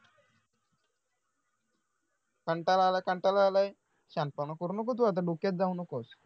कंटाळा आलाय कंटाळा आलाय शहाणपणा करू नको तु आता डोक्यात जाऊ नकोस